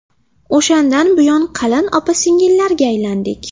O‘shandan buyon qalin opa-singillarga aylandik.